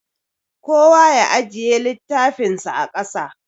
Kowa ya ajiye littafinsa a ƙasa.